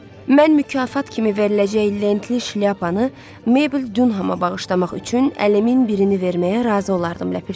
Mən mükafat kimi veriləcək lentli şlyapanı Mebel Dunhama bağışlamaq üçün əlimin birini verməyə razı olardım, ləpirçi.